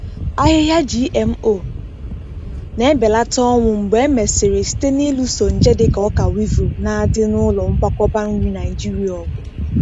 Ahịhịa GMO na-ebelata ọnwụ mgbe e mesịrị site n’ịlụso nje dịka ọka weevil na-adị na ụlọ nkwakọba nri Naijiria ọgụ.